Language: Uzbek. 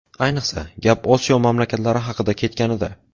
Ayniqsa, gap Osiyo mamlakatlari haqida ketganida.